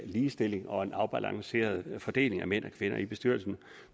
ligestilling og en afbalanceret fordeling af mænd og kvinder i bestyrelserne